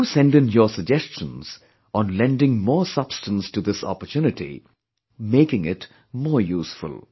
Do send in your suggestions on lending more substance to this opportunity, making it more useful